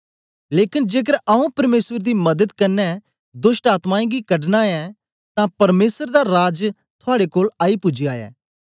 लेकन जेकर आऊँ परमेसर दी मदत कन्ने दोष्टआत्मायें गी कढना ऐं तां परमेसर दा राज थुआड़े कोल आई पूजया ऐ